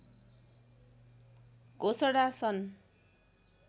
घोषणा सन्